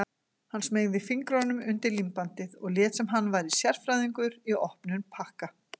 Hann smeygði fingrunum undir límbandið og lét sem hann væri sérfræðingur í opnun pakka.